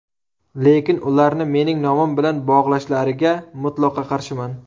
Lekin, ularni mening nomim bilan bog‘lashlariga mutlaqo qarshiman.